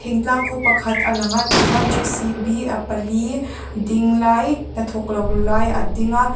thingtlang khaw pakhat a lang a tichuan j c b a pali ding lai hnathawk lo lai a ding a.